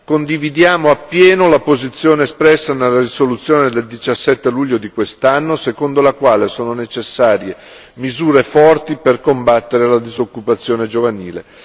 Condividiamo appieno la posizione espressa nella risoluzione del 17 luglio di quest'anno secondo la quale sono necessarie misure forti per combattere la disoccupazione giovanile.